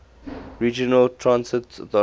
regional transit authority